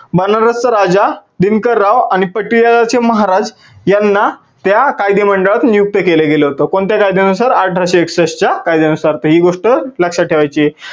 बनारस चा राजा दिनकर राव आणि पटियाला चे महाराज यांना त्या कायदे मंडळात नियुक्त केल्या गेल होत. कोणत्या कायद्या सुनार? अठराशे एकसष्ठ च्या कायद्या नुसार. ही गोष्ट लक्षात ठेवायची आहे.